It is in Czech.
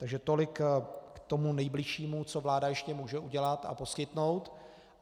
Takže tolik k tomu nejbližšímu, co vláda ještě může udělat a poskytnout.